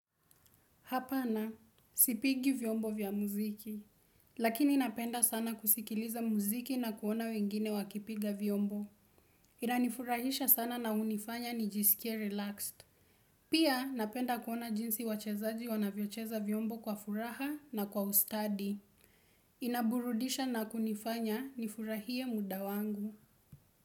Hapana, sipigi vyombo vya muziki. Lakini napenda sana kusikiliza muziki na kuona wengine wakipiga vyombo. Inanifurahisha sana na hunifanya nijisikie relaxed. Pia napenda kuona jinsi wachezaji wanavyocheza vyombo kwa furaha na kwa ustadi. Inaburudisha na kunifanya nifurahie muda wangu.